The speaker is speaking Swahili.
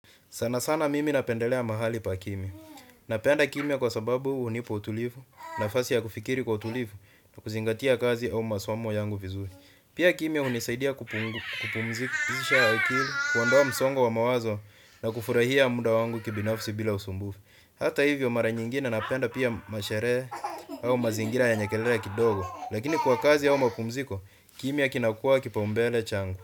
Sana sana mimi napendelea mahali pa kimya. Napenda kimya kwa sababu hunipa utulivu, nafasi ya kufikiri kwa utulivu, na kuzingatia kazi au masomo yangu vizuri. Pia kimya hunisaidia kupumzisha akili, kuondoa msongo wa mawazo na kufurahia muda wangu kibinafsi bila usumbufu. Hata hivyo mara nyingine napenda pia masherehe au mazingira yenye kelele kidogo. Lakini kwa kazi au mapumziko, kimya kinakua kipaumbele changu.